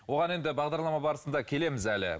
оған енді бағдарлама барысында келеміз әлі